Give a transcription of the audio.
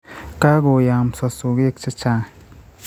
Kagoyaamso sogek che chaang'.